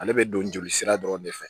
Ale bɛ don jolisira dɔrɔn de fɛ